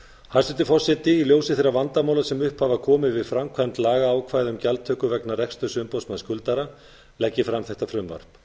hæstvirtur forseti í ljósi þeirra vandamála sem upp hafa komið við framkvæmd lagaákvæða um gjaldtöku vegna rekstur umboðsmanna skuldara legg ég fram þetta frumvarp